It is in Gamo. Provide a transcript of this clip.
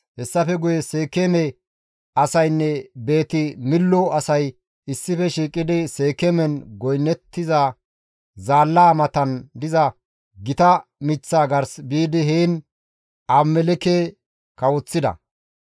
Hessafe guye Seekeeme asaynne Beeti-Millo asay issife shiiqidi Seekeemen goynnettiza zaallaa matan diza gita miththaa gars biidi heen Abimelekke kawoththida.